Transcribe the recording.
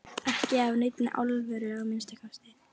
Ekki af neinni alvöru að minnsta kosti.